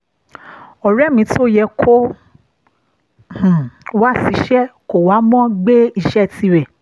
ọ̀rẹ́ mi tó yẹ kó wá ṣìṣe kò wá mo gbé iṣẹ́ tirẹ̀